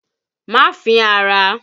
Má fín ara!